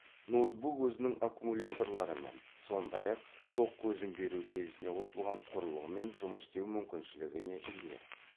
ноутбук өзінің аккумуляторларымен сондай ақ тоқ көзін беру желісіне қосылған құрылғымен жұмыс істеу мүмкіншілігіне ие